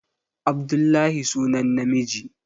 Abdullahi sunan namiji